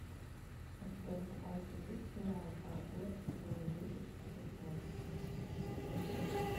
у тебя в запасе есть сериал фарго сезон десять эпизод пять